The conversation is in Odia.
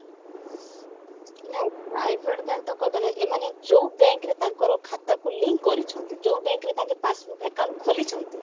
ନାଇଁ private bank ତ କହିପାରିବାନି ଏମାନେ ଯଉ bank ରେ ତାଙ୍କର ଖାତାକୁ link କରିଛନ୍ତି ଯଉ bank ରେ ତାଙ୍କେ passbook account ଖୋଲିଛନ୍ତି